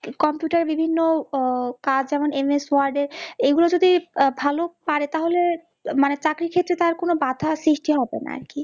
computer এর বিভিন্ন কাজ যেমন MS word এর এগুলো যদি ভাল পাড়ে তাহলে মানে চাকরি ক্ষেত্রে তার কোনও বাধা সৃষ্টি হবে না আর কি